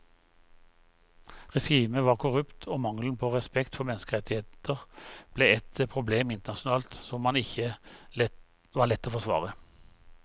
Regimet var korrupt og mangelen på respekt for menneskerettigheter ble et problem internasjonalt som ikke var lett å forsvare.